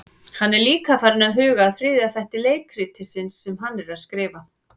Hann er líka farinn að huga að þriðja þætti leikritsins sem hann er að skrifa.